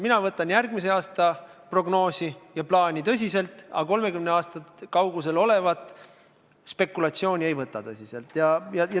Mina võtan tõsiselt järgmise aasta prognoosi ja plaani, aga 30 aasta kaugusel olevat spekulatsiooni ei võta.